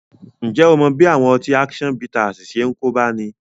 Ǹjẹ́ ó mọ bí àwọn ọtí action bittersi ṣe ń kóbá ẹni?